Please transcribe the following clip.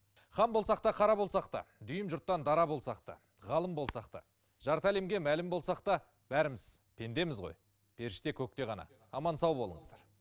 хан болсақ та қара болсақ та дүйім жұрттан дара болсақ та ғалым болсақ та жарты әлемге мәлім болсақ та бәріміз пендеміз ғой періште көкте ғана аман сау болыңыздар